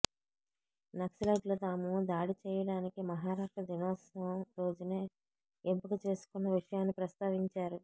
నక్సలైట్లు తాము దాడి చెయ్యటానికి మహారాష్ట్ర దినోత్సవం రోజునే ఎంపిక చేసుకున్న విషయాన్ని ప్రస్తావించారు